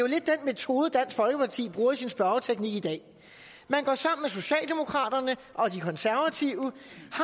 metode dansk folkeparti bruger i sin spørgeteknik i dag man går sammen med socialdemokraterne og de konservative